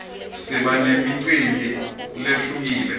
siba nemicimbi lehlukile